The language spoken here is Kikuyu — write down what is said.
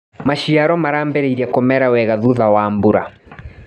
Maciaro marambirie kũmera wega thutha wa mbura.